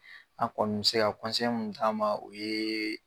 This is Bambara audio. An' kɔni bi se ka mun d'a ma o yee